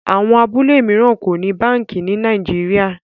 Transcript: Àwọn abúlé míràn o ní bánkì ní Nàìjíríà.